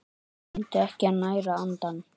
Gleymdu ekki að næra andann!